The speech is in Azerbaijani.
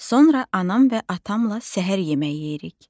Sonra anam və atamla səhər yeməyi yeyirik.